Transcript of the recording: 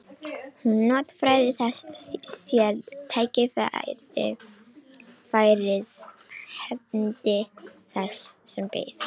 Hún notfærði sér tækifærið, hefndi þess sem beið.